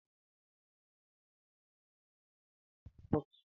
Ndị ọkaikpe na-arụ na kọọtụ